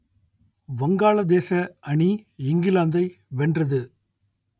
வங்காளதேச அணி இங்கிலாந்தை வென்றது